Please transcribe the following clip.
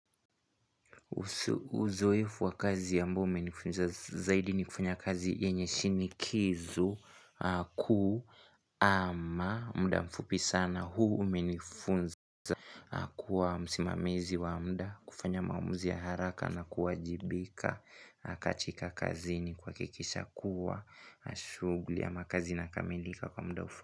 Uzoefu wa kazi ambao umenifunza zaidi ni kufanya kazi yenye shinikizo ama muda mfupi sana. Huu umenifunza kuwa msimamizi wa muda, kufanya maamuzi ya haraka na kuwajibika katika kazi ni kuhakikisha kuwa shughuli ama kazi inakamilika kwa muda mfupi.